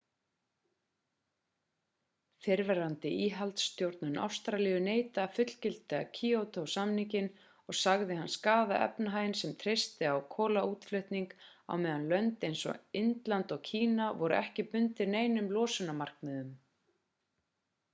fyrrverandi íhaldsstjórn ástralíu neitaði að fullgilda kýótó-samninginn og sagði hann skaða efnahaginn sem treysti á kolaútflutning á meðan lönd eins og indland og kína voru ekki bundin neinum losunarmarkmiðum